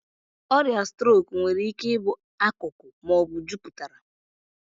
Ọrịa strok nwere ike ịbụ akụkụ ma ọ bụ juputara.